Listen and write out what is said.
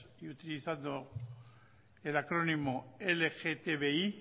y utilizando el acrónimo lgtbi